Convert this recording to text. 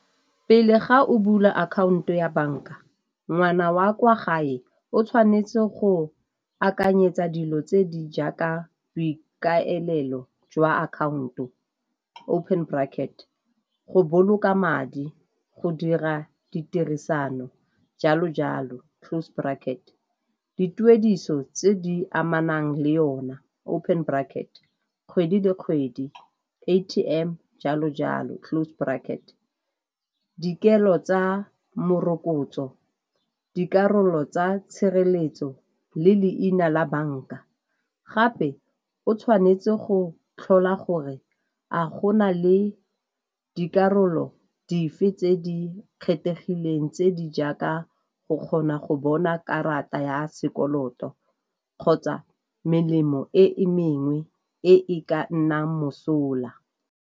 Pele ga o bula akhaonto ya banka, ngwana wa kwa gae o tshwanetse go akanyetsa dilo tse di jaaka boikaelelo jwa account-o open bracket, go boloka madi, go dira ditirisano, jalo jalo, close bracket. Dituediso tse di amanang le yona open bracket, kgwedi le kgwedi, A_T_M, jalo jalo, close bracket. Dikelo tsa morokotso, dikarolo tsa tshireletso le leina la banka. Gape o tshwanetse go tlhola gore a gona le dikarolo dife tse di kgethegileng tse di jaaka go kgona go bona karata ya sekoloto kgotsa melemo e e mengwe e e ka nnang mosola.